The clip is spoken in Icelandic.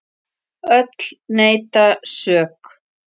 Öll neita sök.